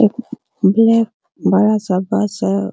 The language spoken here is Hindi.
एक ब्लैक बड़ा सा बस है ।